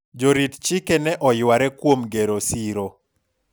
jorit chike ne oyware kuom gero siro